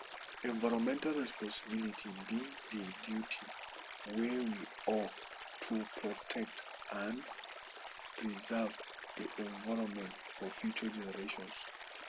environmental responsibility be di duty wey we owe to protect and preserve di environment for future generations